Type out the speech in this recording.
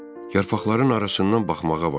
Yarpaqların arasından baxmağa başladım.